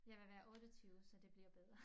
Jeg vil være 28 så det bliver bedre